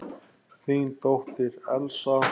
Þín dóttir, Elsa.